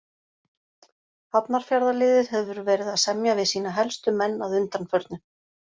Hafnarfjarðarliðið hefur verið að semja við sína helstu menn að undanförnu.